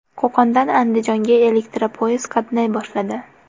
Qo‘qondan Andijonga elektropoyezd qatnay boshladi.